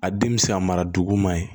A den bɛ se ka mara duguma ye